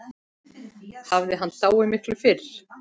Hafði hann dáið miklu fyrr?